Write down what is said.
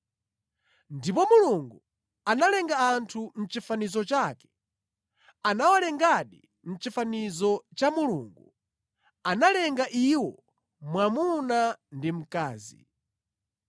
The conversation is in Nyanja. Ndipo Mulungu analenga munthu mʼchifanizo chake. Anawalengadi mʼchifanizo cha Mulungu; analenga iwo, mwamuna ndi mkazi.